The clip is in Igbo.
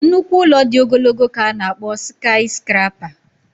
nnukwu ụlọ dị ogologo ka a na-akpọ sikayiscrapa